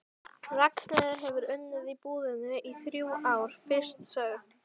Ragnheiður hefur unnið í búðinni í þrjú ár, fyrst sögð